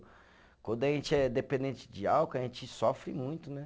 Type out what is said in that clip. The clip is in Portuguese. Quando a gente é dependente de álcool, a gente sofre muito, né?